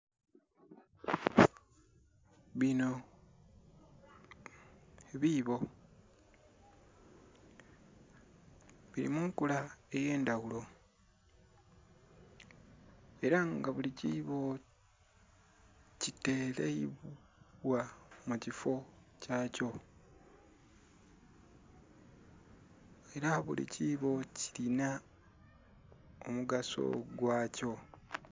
Bino biibo bili mu nkula ey'endhaghulo ela nga buli kiibo kitereibwa mu kiffo kyakyo ela buli kiibo kilinha omugaso gwakyo.